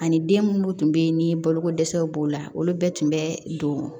Ani den munnu tun bɛ yen ni boloko dɛsɛw b'o la olu bɛɛ tun bɛ don